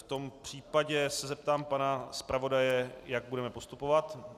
V tom případě se zeptám pana zpravodaje, jak budeme postupovat.